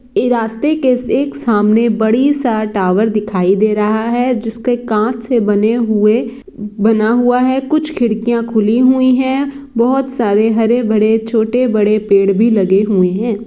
ई रास्ते के एक सामने बड़ी सा टावर दिखाई दे रहा है। जिसके कांच से बने हुए बना हुआ है। कुछ खिड़कीयाँ खुली हुई है बहुत सारे हरे-भरे छोटे-बड़े पेड़ भी लगे हुए है।